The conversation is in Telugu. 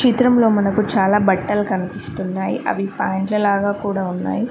చిత్రంలో మనకు చాలా బట్టలు కనిపిస్తున్నాయి అవి పాయింట్ల లాగా కూడా ఉన్నాయి.